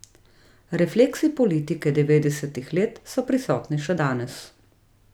Refleksi politike devetdesetih let so prisotni še danes.